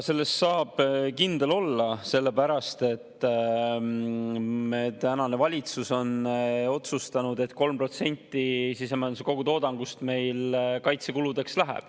Selles saab kindel olla, sellepärast et meie tänane valitsus on otsustanud, et 3% sisemajanduse kogutoodangust läheb meil kaitsekuludeks.